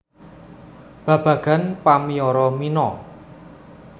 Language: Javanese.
Babagan pamiyoro mino